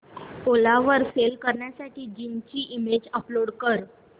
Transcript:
ओला वर सेल करण्यासाठी जीन्स ची इमेज अपलोड कर